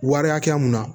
Wari hakɛya mun na